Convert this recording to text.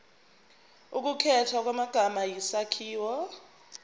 ukukhethwa kwamagama isakhiwo